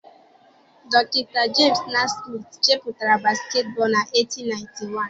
Dr. James Naismith chepụtara basketball na 1891.